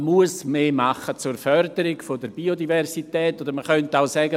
Man muss mehr tun zur Förderung der Biodiversität, oder man könnte auch sagen: